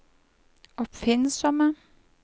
oppfinnsomme